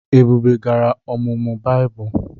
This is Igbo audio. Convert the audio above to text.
Ebube gara ọmụmụ Baịbụl.